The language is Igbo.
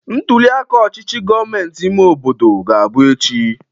Ntuliaka ọchichi gomentịị ime obodo ga-abụ echi.